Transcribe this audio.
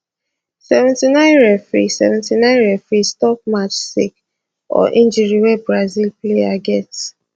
79 referee 79 referee stop match sake or injury wey brazil player get